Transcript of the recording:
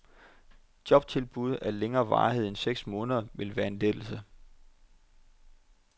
Jobtilbud af længere varighed end seks måneder ville være en lettelse.